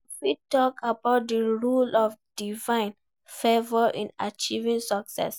You fit talk about di role of divine favor in achieving success.